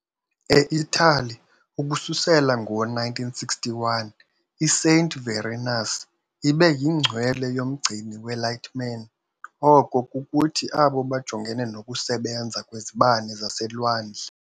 E-Italy, ukususela ngo-1961, i-Saint Venerius ibe yingcwele yomgcini we-lightmen, oko kukuthi abo bajongene nokusebenza kwezibane zaselwandle.